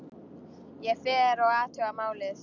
Ég fer og athuga málið.